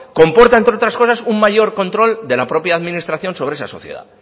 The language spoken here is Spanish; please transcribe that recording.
comporta entre otras cosas un mayor control de la propia administración sobre esa sociedad